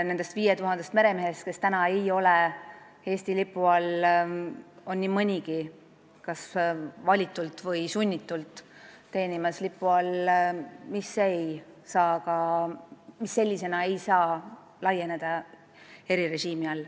Nendest 5000 meremehest, kes praegu ei ole Eesti lipu all, teenib nii mõnigi kas vabal valikul või sunnitult lipu all, millele erirežiim ei laiene.